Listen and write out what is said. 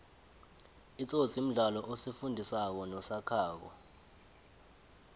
itsotsi mdlalo osifundi sako nosakhako